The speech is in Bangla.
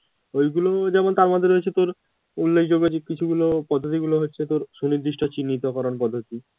ওই গুলো যেমন তারমধ্যে রয়েছে তোর উল্লেখযোগ্য যে কিছু গুলো পদ্ধিতি গুলো হচ্ছে তোর সুনির্দিষ্ট চিন্নিহিত করণ পদ্ধিতি